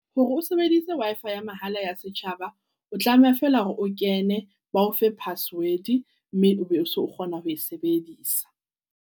Hore o sebeditse Wi-Fi ya mahala ya setjhaba, o tlameha feela hore o kene ba ofe password. Mme e be o so o kgona ho e sebedisa.